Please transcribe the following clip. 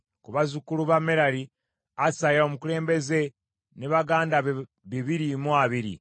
ku bazzukulu ba Merali, Asaya omukulembeze ne baganda be bibiri mu abiri;